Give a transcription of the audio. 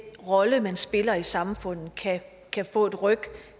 rolle man spiller i samfundet kan få et ryk